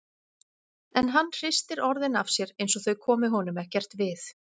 En hann hristir orðin af sér einsog þau komi honum ekkert við.